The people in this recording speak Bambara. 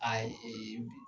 Ayi